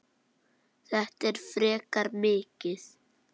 Þetta er frekar mikið.